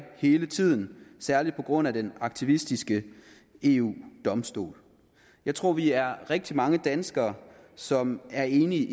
hele tiden særlig på grund af den aktivistiske eu domstol jeg tror vi er rigtig mange danskere som er enige